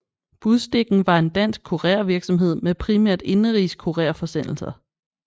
Budstikken var en dansk kurervirksomhed med primært indenrigs kurerforsendelser